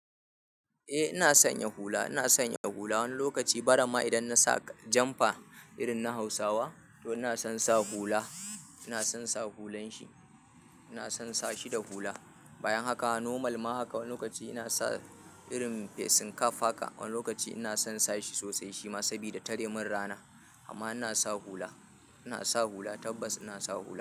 Eh ina sanya hula, ina sanya hula wani lokaci, barama idan nasa janfa irin na Hausawa to ina son sa hula, ina son sa hulan shi, ina son sa shi da hula. Bayan haka normal ma haka wani lokaci ina sa irin fesen kaf haka, wani lokaci ina son sa shi sosai shima sabida tare min rana. Amma ina sa hula, ina sa hula tabbas ina sa hula.